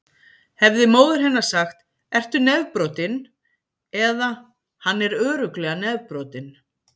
Hefði móðir hennar sagt: Ertu nefbrotinn? eða: Hann er örugglega nefbrotinn.